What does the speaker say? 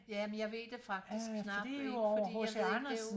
Jamen jeg ved det faktisk knap ikke fordi jeg ved ikke det jo